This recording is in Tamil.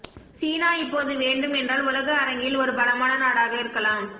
சீனா இப்போது வேண்டும் என்றால் உலக அரங்கில் ஒரு பலமான நாடாக இருக்கலாம்